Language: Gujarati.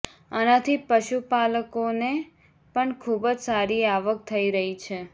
આનાથી પશુપાલકોને પણ ખૂબ જ સારી આવક થઈ રહી છે